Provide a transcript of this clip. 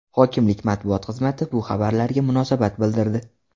Hokimlik matbuot xizmati bu xabarlarga munosabat bildirdi .